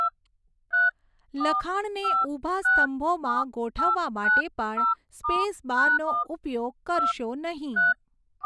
લખાણને ઊભા સ્તંભોમાં ગોઠવવા માટે પણ સ્પેસબારનો ઉપયોગ કરશો નહિ.